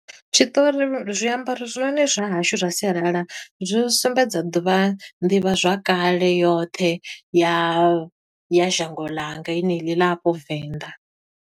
Tshiṱori zwiambaro zwone zwa hashu zwa sialala zwo sumbedza ḓuvha, nḓivha zwakale yoṱhe ya ya zhango ḽanga heneḽi ḽa afho Venḓa.